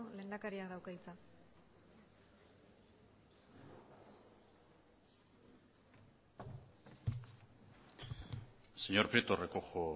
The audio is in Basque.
lehendakari jaunak dauka hitza señor prieto recojo